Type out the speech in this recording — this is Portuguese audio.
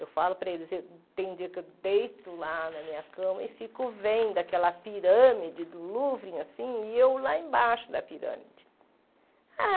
Eu falo para eles, tem dia que eu deito lá na minha cama e fico vendo aquela pirâmide do Louvre assim, e eu lá embaixo da pirâmide. Ah